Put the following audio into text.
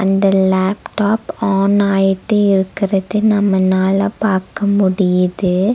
இந்த laptop on ஆயிட்டு இருக்குறது நம்மனால பாக்க முடியிது.